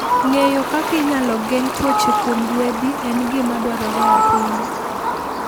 Ng'eyo kaka inyalo geng' tuoche kuom ruedhi en gima dwarore ahinya.